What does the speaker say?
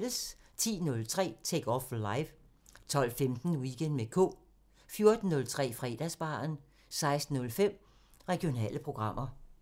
10:03: Take Off Live 12:15: Weekend med K 14:03: Fredagsbaren 16:05: Regionale programmer